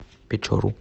печору